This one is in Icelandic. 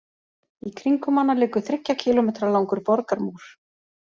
Í kringum hana liggur þriggja kílómetra langur borgarmúr.